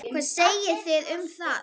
Hvað segið þið um það?